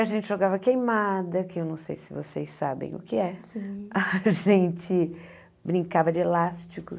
A gente jogava queimada, que eu não sei se vocês sabem o que é. A gente brincava de elásticos.